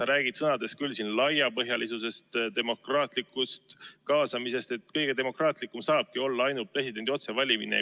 Sa räägid sõnades küll laiapõhjalisusest, demokraatlikust kaasamisest, aga kõige demokraatlikum ja kõige laiapõhjalisem saabki olla ainult presidendi otsevalimine.